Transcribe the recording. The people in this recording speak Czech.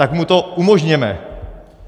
Tak mu to umožněme.